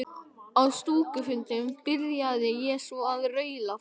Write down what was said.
Á stúkufundunum byrjaði ég svo að raula þær.